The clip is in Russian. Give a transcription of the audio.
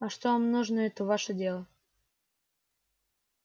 а что вам нужно это ваше дело